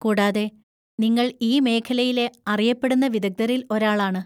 കൂടാതെ, നിങ്ങൾ ഈ മേഖലയിലെ അറിയപ്പെടുന്ന വിദഗ്ധരിൽ ഒരാളാണ്.